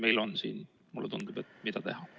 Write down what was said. Meil on siin, mulle tundub, mida teha.